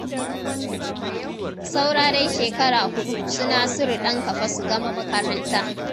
Saura dai shekara huɗu su Nasiru ɗanka fa su gama makaranta.